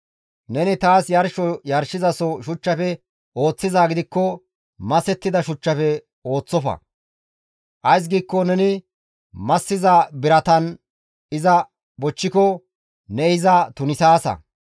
Neni taas yarsho yarshizaso shuchchafe ooththizaa gidikko masettida shuchchafe ooththofa; ays giikko neni massiza biratan iza bochchiko ne iza tunisaasa.